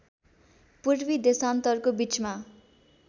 पूर्वी देशान्तरको बीचमा